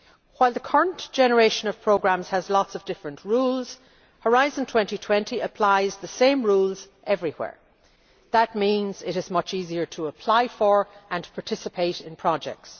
While the current generation of programmes has lots of different rules, Horizon 2020 applies the same rules everywhere. That means it is much easier to apply for and to participate in projects.